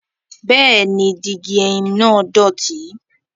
Bẹẹni, digi ẹhim naa dọti